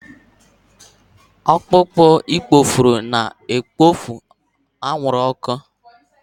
Ọkpụkpọ ikpochapụ na-ekpopụ anwụrụ ọkụ.